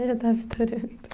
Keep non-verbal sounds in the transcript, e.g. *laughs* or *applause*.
*laughs* né já estava estourando.